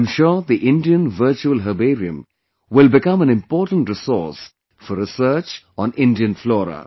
I am sure the Indian Virtual Herbarium will become an important resource for research on Indian flora